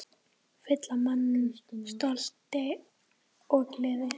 Fylla mann stolti og gleði.